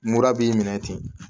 Mura b'i minɛ ten